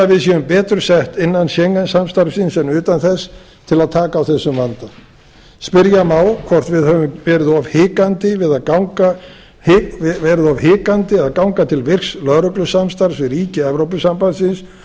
við séum betur sett innan schengen samstarfsins en utan þess til að taka á þessum vanda spyrja má hvort við höfum verið of hikandi við að ganga til virks lögreglusamstarfs við ríki evrópusambandsins